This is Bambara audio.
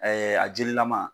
a jelilama.